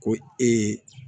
Ko ee